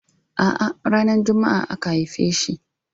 A'a ranar Juma'a aka haife shi.